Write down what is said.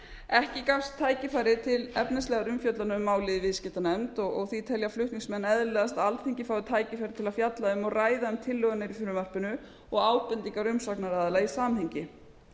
ekki gafst tækifæri til efnislegrar umfjöllunar um málið í viðskiptanefnd því telja flutningsmenn eðlilegast að alþingi fái tækifæri til að fjalla um og ræða um tillögur í frumvarpinu og ábendingar umsagnaraðila í samhengi